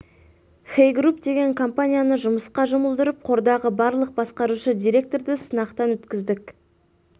хэй груп деген компанияны жұмысқа жұмылдырып қордағы барлық басқарушы директорды сынақтан өткіздік